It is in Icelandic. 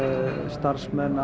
starfsmenn